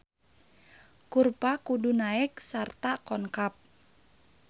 Kurva kudu naek sarta konkav.